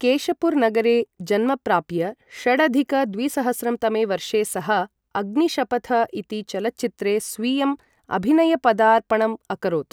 केशपुर नगरे जन्म प्राप्य षडधिक द्विसहस्रं तमे वर्षे सः अग्निशपथ इति चलच्चित्रे स्वीयम् अभिनयपदार्पणम् अकरोत्।